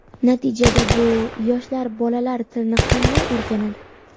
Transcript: Natijada bu: Yosh bolalar tilni qanday o‘rganadi?